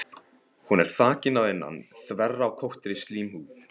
Hún er þakin að innan þverrákóttri slímhúð.